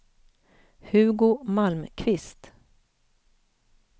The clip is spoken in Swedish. Hugo Malmqvist